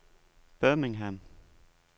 Birmingham